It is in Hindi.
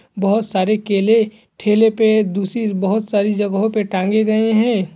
बहुत सारे केले ठेले पे दूसरी बहुत सारी जगहो पर तांगे गए हैं।